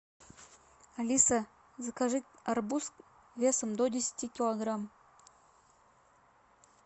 алиса закажи арбуз весом до десяти килограмм